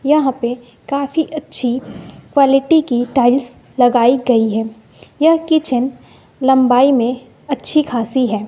यहां पे काफी अच्छी क्वालिटी की टाइल्स लगाई गई है यह किचेन लंबाई में अच्छी खासी है।